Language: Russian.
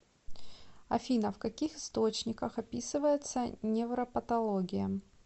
афина в каких источниках описывается невропатология